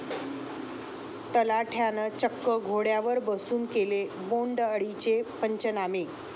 तलाठ्यानं चक्क घोड्यावर बसून केले बोंडअळीचे पंचनामे!